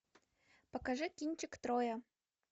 покажи кинчик троя